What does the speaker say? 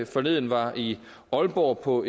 forleden var i aalborg på